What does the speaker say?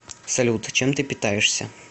салют чем ты питаешься